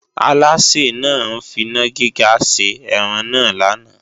Alásè náà ń finá gíga ṣe ẹran náà lánàá